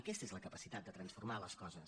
aquesta és la capacitat de transformar les coses